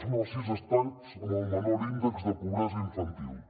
són els sis estats amb el menor índex de pobresa infantil